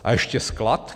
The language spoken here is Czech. A ještě sklad?